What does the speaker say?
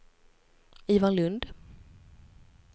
Ivar Lundh